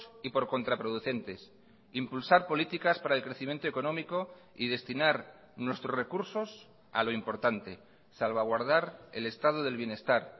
y por contraproducentes impulsar políticas para el crecimiento económico y destinar nuestros recursos a lo importante salvaguardar el estado del bienestar